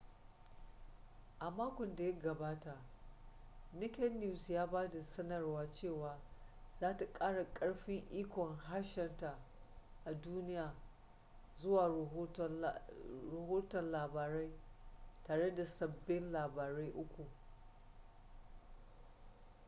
a makon da ya gabata naked news ya ba da sanarwar cewa za ta kara karfin ikon harshenta a duniya zuwa rahoton labarai tare da sabbin labarai uku